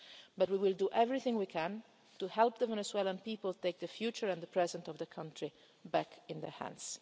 intervention. But we will do everything we can to help the Venezuelan people take the future and the present of the country back